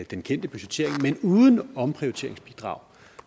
den kendte budgettering men uden omprioriteringsbidrag